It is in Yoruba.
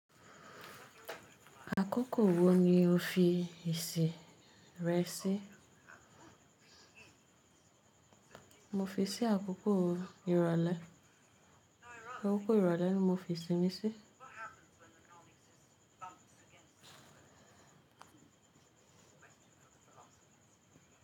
Àkókò wo ni o fi ìsìn rẹ sí? Mo fi sí àkókò ìrọ̀lẹ́. Àkókò ìrọ̀lẹ́ ni mo fi ìsìn mi sí.